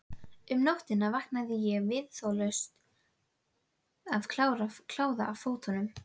Um nóttina vaknaði ég viðþolslaus af kláða í fótunum.